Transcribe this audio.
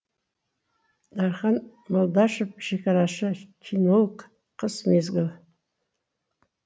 дархан молдашев шекарашы кинолог қыс мезгілі